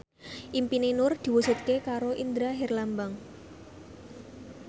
impine Nur diwujudke karo Indra Herlambang